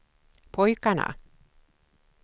pojkarna